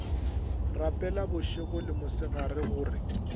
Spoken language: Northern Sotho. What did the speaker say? rapela bošego le mosegare gore